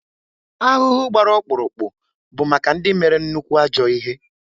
Ahụhụ gbara ọkpụrụkpụ bụ maka ndị mere nnukwu ajọ ihe